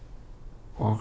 og